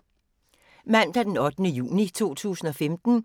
Mandag d. 8. juni 2015